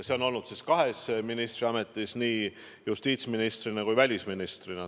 See on olnud kahes ministriametis, nii justiitsministrina kui välisministrina.